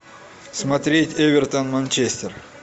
смотреть эвертон манчестер